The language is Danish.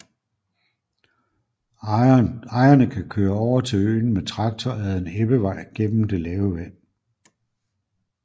Ejerne kan køre over til øen med traktor ad en ebbevej gennem det lave vand